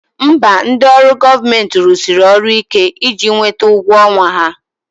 Mba, ndị ọrụ gọọmenti rụsiri ọrụ ike iji nweta ụgwọ ọnwa ha